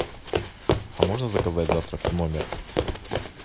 а можно заказать завтрак в номер